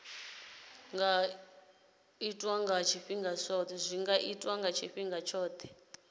nga itwa nga tshifhinga tshithihi